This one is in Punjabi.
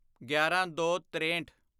ਗਿਆਰਾਂਦੋਤਰੇਹਠ